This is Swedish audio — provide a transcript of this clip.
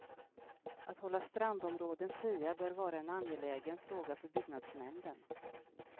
Att hålla strandområden fria bör vara en angelägen fråga för byggnadsnämnden.